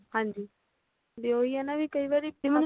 ਹਾਜੀ ਵੀ ਉਹ ਹੀ ਆ ਨਾ ਵੀ ਕਈ ਵਾਰੀ